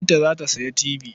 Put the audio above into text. Binta za ta sayi tibi.